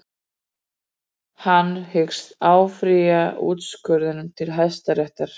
Hann hyggst áfrýja úrskurðinum til hæstaréttar